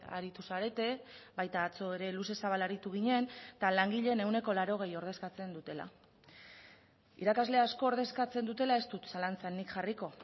aritu zarete baita atzo ere luze zabal aritu ginen eta langileen ehuneko laurogei ordezkatzen dutela irakasle asko ordezkatzen dutela ez dut zalantzan nik jarriko